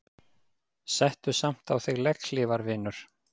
Settu samt á þig legghlífar vinur.